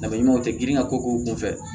Dama ɲumanw tɛ girin ka ko k'u kun fɛ